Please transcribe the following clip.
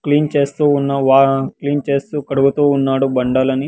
Clean చేస్తూ ఉన్నవా clean చేస్తూ కడుగుతూ ఉన్నాడు బండలని.